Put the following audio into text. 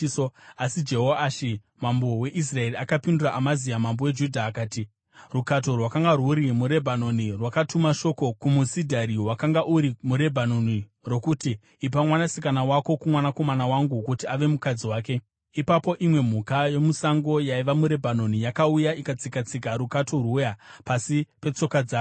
Asi Jehoashi mambo weIsraeri akapindura Amazia mambo weJudha akati, “Rukato rwakanga rwuri muRebhanoni rwakatuma shoko kumusidhari wakanga uri muRebhanoni, rokuti, ‘Ipa mwanasikana wako kumwanakomana wangu kuti ave mukadzi wake.’ Ipapo imwe mhuka yomusango yaiva muRebhanoni yakauya ikatsika-tsika rukato rwuya pasi petsoka dzayo.